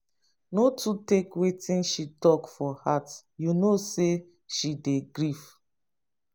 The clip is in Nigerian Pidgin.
no too take wetin she talk for heart you know sey she dey grief.